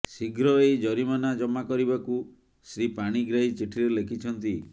ଶୀଘ୍ର ଏହି ଜରିମାନା ଜମା କରିବାକୁ ଶ୍ରୀ ପାଣିଗ୍ରାହୀ ଚିଠିରେ ଲେଖିଛନ୍ତି